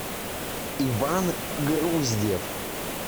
иван груздев